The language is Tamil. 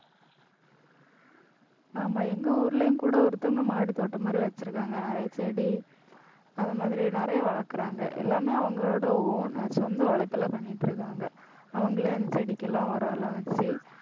ஆமா எங்க ஊர்லயும் கூட ஒருத்தவங்க மாடித் தோட்டம் மாதிரி வச்சிருக்காங்க. நிறைய செடி அந்த மாதிரி நிறைய வளர்க்கிறாங்க. எல்லாமே அவங்களோட own சொந்த உழைப்புல பண்ணிட்டிருக்காங்க. அவங்களே அந்த செடிக்கெல்லாம் உரம் எல்லாம் வச்சு